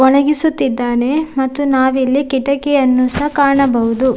ಒಣಗಿಸುತ್ತಿದ್ದಾನೆ ಮತ್ತು ನಾವಿಲ್ಲಿ ಕಿಟಕಿಯನ್ನು ಸಹ ಕಾಣಬಹುದು.